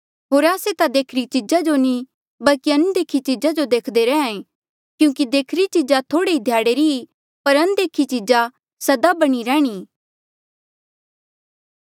होर आस्से ता देखिरी चीजा जो नी बल्की अनदेखी चीजा जो देखदे रैंहयां ऐें क्यूंकि देखीरी चीजा थोड़े ई ध्याड़े री ई पर अनदेखी चीजा सदा बणीं रहीं